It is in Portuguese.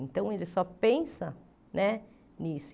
Então, ele só pensa né nisso.